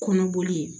Kɔnɔboli